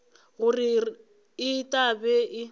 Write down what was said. gore e tla be e